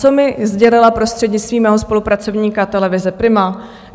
Co mi sdělila prostřednictvím mého spolupracovníka televize Prima?